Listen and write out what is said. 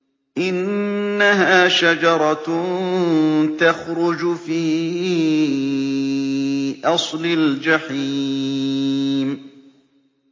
إِنَّهَا شَجَرَةٌ تَخْرُجُ فِي أَصْلِ الْجَحِيمِ